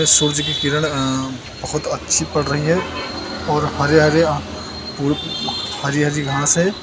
सूरज की किरण अ बहुत अच्छी पड़ रही है और हरे हरे हरी हरी घास है।